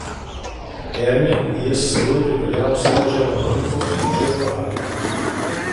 Ermin je s seboj pripeljal svojo ženo Moniko in hčerko Ajlo.